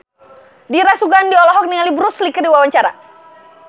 Dira Sugandi olohok ningali Bruce Lee keur diwawancara